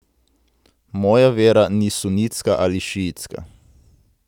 Moja vera ni sunitska ali šiitska.